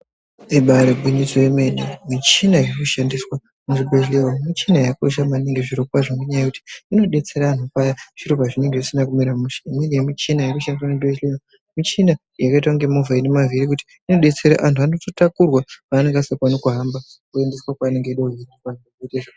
Ibari gwinyiso yomene michina irikushandiswa muzvibhedhlera michina yakakosha maningi zvirokwazvo ngenyaya yekuti inodetsera anhu paya zviro pazvinenge zvisina kumira mushe, imweni yemichina inoshandiswa muzvibhedhlera michina yakaita kunge movha inemvhiri inodetsera anhu anototakurwa paanenge asingakoni kuhamba kuendeswa kwaanenge eida kuzi.